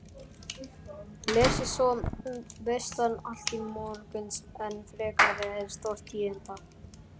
Leið svo veislan allt til morguns án frekari stórtíðinda.